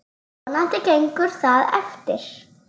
Vonandi gengur það eftir.